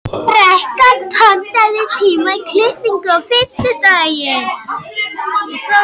Bekan, pantaðu tíma í klippingu á fimmtudaginn.